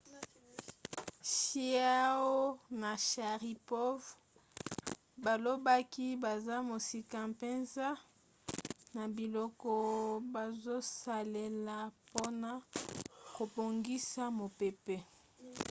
chiao na sharipov balobaki baza mosika mpenza na biloko bazosalela mpona kobongisa mopepe